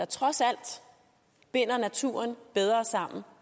trods alt binder naturen bedre sammen